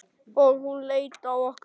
Og hún leit á okkur.